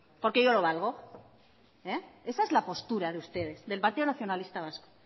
porque yo lo valgo esa es la postura de ustedes del partido nacionalista vasco